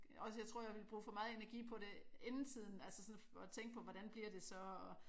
Også jeg tror jeg ville bruge for meget energi på det inden tiden altså sådan at tænke på hvordan bliver det så og